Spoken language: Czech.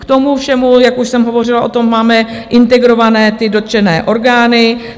K tomu všemu, jak už jsem hovořila o tom, máme integrované ty dotčené orgány.